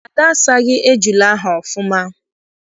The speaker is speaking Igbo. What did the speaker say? Ada asaghị ejula ahụ ọfụma.